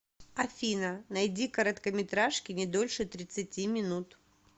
афина найди короткометражки не дольше тридцати минут